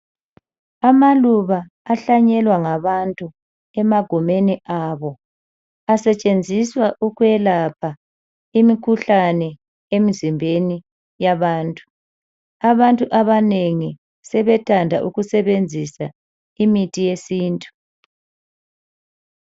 Amaluba ahlanyelwangabantu emagumeni abo asetshenziswa ukwelapha imikhuhlane emizimbeni yabantu. Abantu abanengi sebethanda ukusebenzisa imithi yesintu